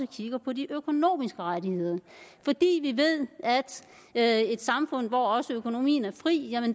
kigger på de økonomiske rettigheder fordi vi ved at i et samfund hvor også økonomien er fri